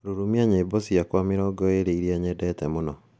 Rũrumĩa nyĩmbo ciakwa mĩrongo ĩĩrĩ iria nyendete mũno